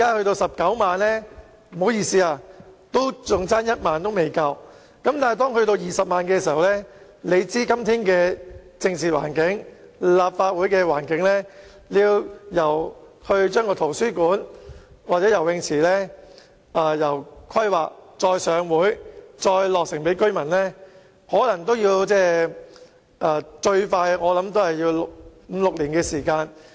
但是，當該區有20萬人時，大家知道今天的政治環境和立法會的境況，由規劃圖書館和游泳池，到提交立法會審議，繼而在當區落成供居民使用，我估計最快也要五六年的時間。